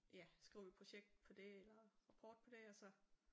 Ja skriver vi projekt på det eller rapport på det og så